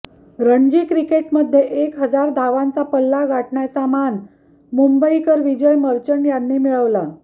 रणजी क्रिकेटमध्ये एक हजार धावांचा पल्ला गाठण्याचा मान मुंबईकर विजय र्मचट यांनी मिळवला